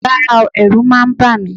Rárá o, ẹ̀rù máa ń bà mí